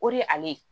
O de ye ale ye